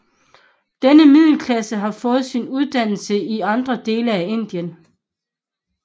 Denne middelklasse har fået sin uddannelse i andre dele af Indien